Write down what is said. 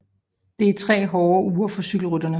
Det er 3 hårde uger for cykelrytterne